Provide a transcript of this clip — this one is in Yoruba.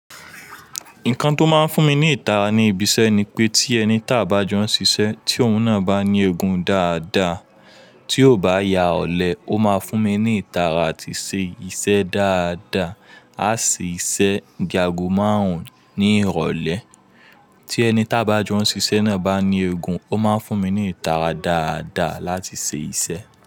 Nǹkan tó máa ń fún mi ní ìtara ní ibi iṣẹ́ ni pé tí ẹni tá bá jọ ń ṣiṣẹ́ tí òun náà bá ní egun dáadáa, tí ò bá ya ọ̀lẹ, ó máa fún mi ní ìtara àti ṣe iṣẹ́ dáadáa. A ṣe iṣẹ́ da ago márùn-ún ní ìrọ̀lẹ́, tí ẹni tá bá jọ ń ṣiṣẹ́ náà bá ní egun, ó máa ń fún mi ní ìtara dáadáa láti ṣe iṣẹ́